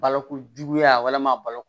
Balokojuguya walima balo